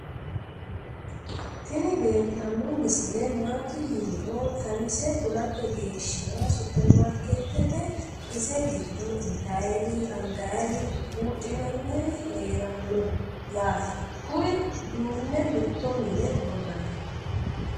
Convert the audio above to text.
Tini leeltanno misile maati yiniro xawise kulate geeshshira superimaarikeetete ise giddo intayri angayri buudhinanniri heeranno yaate kuri duunne mitto mine worranni